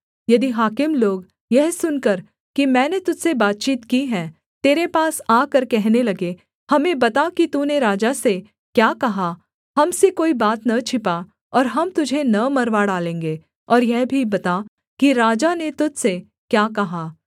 यदि हाकिम लोग यह सुनकर कि मैंने तुझ से बातचीत की है तेरे पास आकर कहने लगें हमें बता कि तूने राजा से क्या कहा हम से कोई बात न छिपा और हम तुझे न मरवा डालेंगे और यह भी बता कि राजा ने तुझ से क्या कहा